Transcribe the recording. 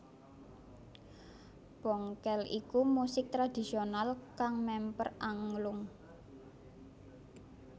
Bongkel iku musik tradhisional kang memper anglung